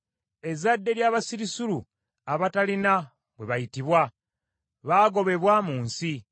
Ezzadde ly’abasirusiru abatalina bwe bayitibwa, baagobebwa mu nsi.